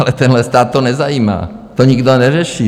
Ale tenhle stát to nezajímá, to nikdo neřeší.